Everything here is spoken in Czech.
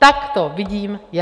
Tak to vidím já!